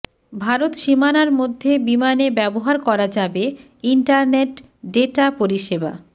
ভারত সীমানার মধ্যে বিমানে ব্যবহার করা যাবে ইন্টারনেট ডেটা পরিষেবা